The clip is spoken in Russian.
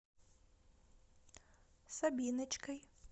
сабиночкой